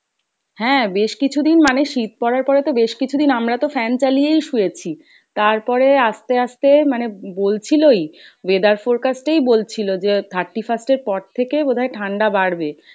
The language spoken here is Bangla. হ্যাঁ বেশ কিছুদিন মানে শীত পরার পরে তো বেশ কিছুদিন আমরা তো fan চালিয়েই শুয়েছি, তারপরে আস্তে আস্তে মানে বলছিলোই weather forecast এই বলছিলো যে thirty first এর পর থেকে বোধহয় ঠাণ্ডা বাড়বে।